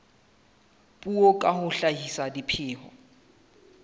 puo ka ho hlahisa dipheo